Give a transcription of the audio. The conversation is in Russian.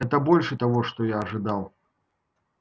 это больше того что я ожидал